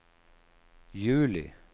juli